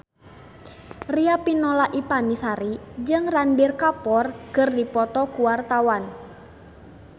Riafinola Ifani Sari jeung Ranbir Kapoor keur dipoto ku wartawan